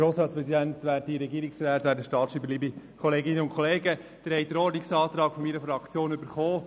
Sie haben den Ordnungsantrag meiner Fraktion bekommen.